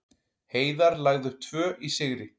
Heiðar lagði upp tvö í sigri